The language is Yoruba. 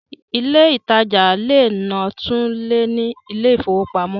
Ilé ìtajà lè náà tún lè ní ilé ìfowópamọ́